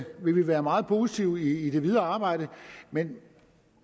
vi vil være meget positive i det videre arbejde men